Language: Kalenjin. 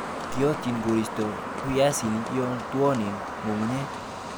Kiotyin koristo biaisinik yon twonen ng'ung'unyek.